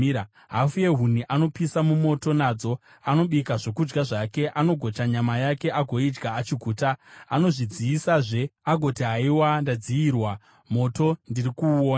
Hafu yehuni anopisa mumoto, nadzo anobika zvokudya zvake, anogocha nyama yake agoidya achiguta. Anozvidziyisazve, agoti, “Haiwa! Ndadziyirwa; moto ndiri kuuona.”